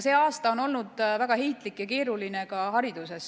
See aasta on olnud väga heitlik ja keeruline ka hariduses.